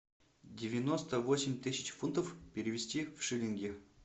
девяносто восемь тысяч фунтов перевести в шиллинги